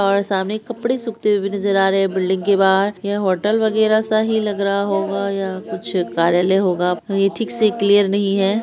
और सामने कपड़े सूखते हुए नजर आ रहे हैं। बिल्डिंग के बाहर यह होटल वगैरा सा ही लग रहा होगा या कुछ कार्यालय होगा ठीक से क्लीयर नहीं है।